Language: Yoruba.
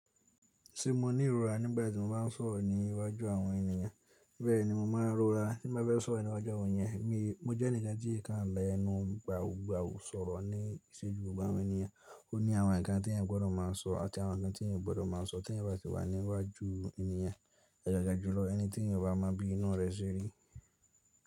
Ṣé mo ní ìrora nígbàtí mo bá ń sọ̀rọ̀ ní iwájú àwọn ènìyàn? Bẹ́ẹ̀ni mo máa ń rọra tí mo bá fẹ́ sọ̀rọ̀ níwájú àwọn ènìyàn. Mo jẹ́ ẹnìkan tí ń kàn la ẹnu gbàùgbàù sọ̀rọ̀ ní ìṣéjú gbogbo àwọn ènìyàn. Ó ní àwọn ǹkan tí èyaàn gbọdọ̀ máa sọ àti àwọn ǹkan tí èyàn gbọdọ̀ má sọ tí èyàn bá ti wà níwájú ènìyàn. Àgàgà jùlọ ẹni tí èyàn ò bá mọ bí inú rẹ́ ṣerí.